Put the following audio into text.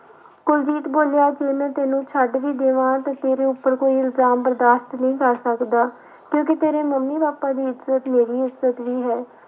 ਕੁਲਜੀਤ ਬੋਲਿਆ ਕਿ ਮੈਂ ਤੈਨੂੰ ਛੱਡ ਵੀ ਦੇਵਾਂ ਤੇ ਤੇਰੇ ਉੱਪਰ ਕੋਈ ਇਲਜ਼ਾਮ ਬਰਦਾਸ਼ਤ ਨਹੀਂ ਕਰ ਸਕਦਾ, ਕਿਉਂਕਿ ਤੇਰੇ ਮੰਮੀ ਪਾਪਾ ਦੀ ਇੱਜਤ ਮੇਰੀ ਇੱਜਤ ਵੀ ਹੈ।